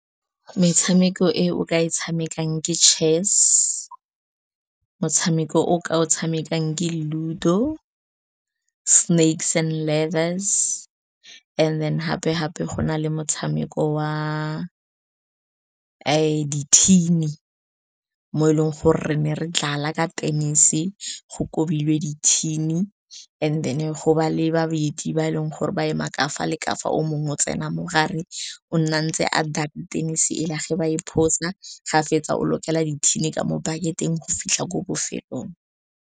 Metshameko e o ka e tshamekang ke chess, motshameko o ka o tshamekang ke Ludo, snakes and ladders, and then gape gape go na le motshameko wa di-tin-e, mo e leng gore re ne re dlala ka tennis, go kobilweng di-tin-e, and then go ba le ba babedi, ba eme ka fa le ka fa, o mongwe o tsena mo gare, o nna ntse , ge ba e phosa, ga fetsa, o lokela di-tin-e a mo bucket-eng go fitlha ko bofelong.